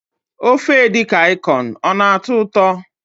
Ofe edikang ikong ọ na- atọ ụtọ?